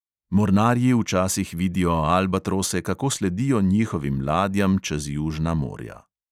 Mornarji včasih vidijo albatrose, kako sledijo njihovim ladjam čez južna morja.